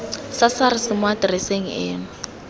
sa sars mo atereseng eno